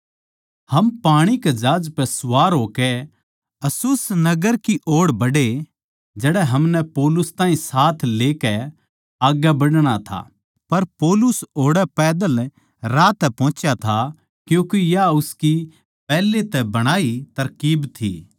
हम पाणी के जहाज पै सवार होकै अस्सुस नगर की ओड़ बढ़े जड़ै हमनै पौलुस ताहीं साथ लेकै आग्गै बढ़णा था पर पौलुस ओड़ै पैदल राह तै पोहोचा था क्यूँके या उसकी पैहले तै बणाई तरकीब थी